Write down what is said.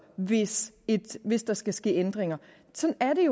hvis hvis der skal ske ændringer sådan er det